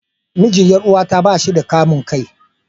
Mijin Yar'uwata ba shi da kamun kai.